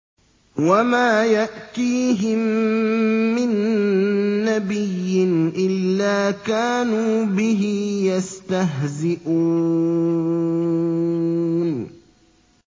وَمَا يَأْتِيهِم مِّن نَّبِيٍّ إِلَّا كَانُوا بِهِ يَسْتَهْزِئُونَ